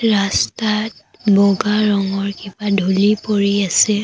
ৰাস্তাত বগা ৰঙৰ কিবা ধূলি পৰি আছে।